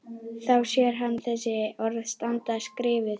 Þá sér hann þessi orð standa skrifuð: